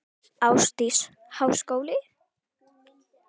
Ásdís: Háskóli?